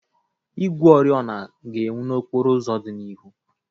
Igwe oriọna ga-enwu n'okporo ụzọ dị n'ihu.